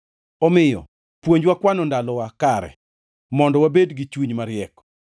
Omiyo puonjwa kwano ndalowa kare, mondo wabed gi chuny mariek.